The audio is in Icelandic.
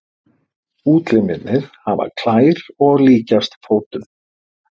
Útlimirnir hafa klær og líkjast fótum.